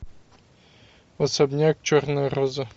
особняк черная роза